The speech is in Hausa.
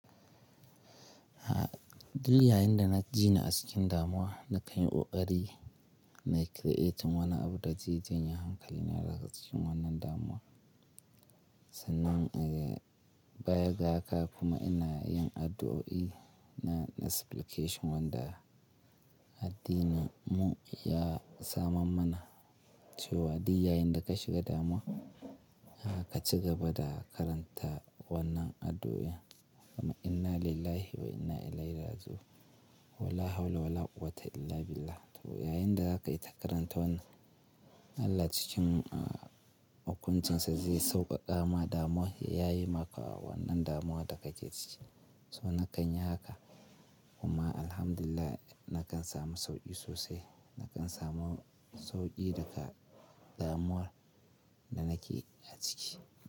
Duk yayinda na jini a cikin damuwa nakanyi koƙari na creating wani abu da janye hankali na daga cikin wannan damuwa. Sannan eh baya ga haka kuma ina yin addu'o'i na supplication wanda addinin mu ya saman mana cewa diya yanda ka shiga damuwa, ka cigaba da karanta wannan addu'a "Inna lillahi wa inna ilaihi raji'un. Wala hawla wala quwwata illa billah". To yayinda za ka yi ta karanta wannan Allah cikin a-a hukuncinsa zai sauƙaƙa ma damuwa ya ye maka wannan damuwa da kake ciki. So na kanyi haka kuma Alhamdulillah na kan samu sauki sosai. Na kan samu sauki daga damuwar da nake ciki.